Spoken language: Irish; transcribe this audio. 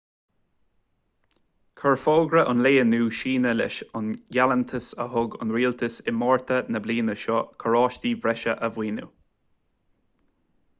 chuir fógra an lae inniu síneadh leis an ngealltanas a thug an rialtas i márta na bliana seo carráistí breise a mhaoiniú